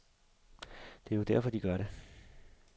Det er jo derfor, de gør det.